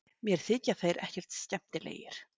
Mér þykja þeir ekkert skemmtilegir